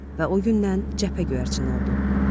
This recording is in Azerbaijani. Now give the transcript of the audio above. Və o gündən cəbhə göyərçini oldu.